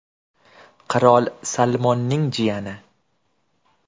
Qirol Salmonning jiyani.